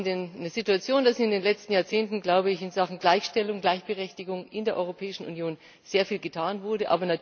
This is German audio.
Wir haben die Situation, dass in den letzten Jahrzehnten in Sachen Gleichstellung, Gleichberechtigung in der Europäischen Union sehr viel getan wurde.